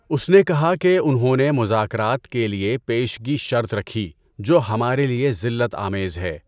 اس نے کہا کہ انہوں نے مذاکرات کے لیے پیشگی شرط رکھی جو ہمارے لیے ذلت آمیز ہے۔